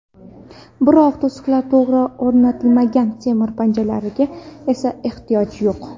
Biroq to‘siqlar to‘g‘ri o‘rnatilmagan, temir panjaralarga esa ehtiyoj yo‘q.